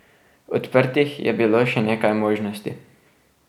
Odprtih je bilo še nekaj možnosti.